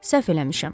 Səhv eləmişəm.